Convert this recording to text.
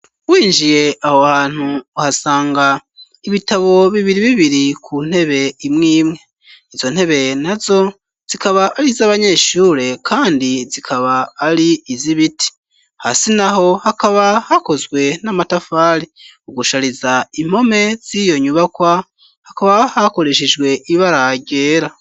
Winjiye aho hantu uhasanga ibitabo bibiri bibiri ku ntebe imwimwe, izo ntebe na zo zikaba ari z'abanyeshure kandi zikaba ari izibiti hasi naho hakaba hakozwe n'amatafari ugushariza impome ziyonyubakwa hakaba hakoreshejwe ibara ryera.